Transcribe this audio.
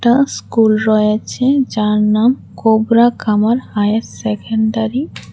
School রয়েছে যার নাম কোবরা কামার হায়ার সেকেন্ডারি ।